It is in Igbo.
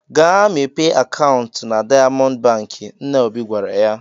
"Gaa mepee akaụntụ na Daịamọndụ Bankị," nna Obi gwara ya.